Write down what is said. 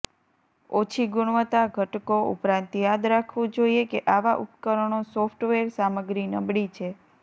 ઓછી ગુણવત્તા ઘટકો ઉપરાંત યાદ રાખવું જોઈએ કે આવા ઉપકરણો સોફ્ટવેર સામગ્રી નબળી છે